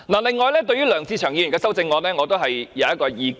另外，對於梁志祥議員的修正案我也有意見。